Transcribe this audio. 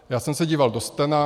Já jsem se díval do stena.